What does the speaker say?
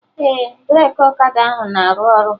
Ee, breki ọkada ahụ na-aru ọrụ